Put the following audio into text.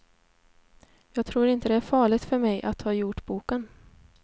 Jag tror inte det är farligt för mig att ha gjort boken.